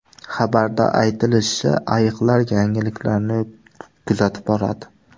Xabarda aytilishicha, ayiqlar yangiliklarni kuzatib boradi.